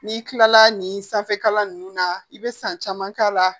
N'i kilala nin sanfɛkalan nunnu na i be san caman k'a la